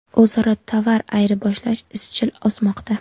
O‘zaro tovar ayirboshlash izchil o‘smoqda.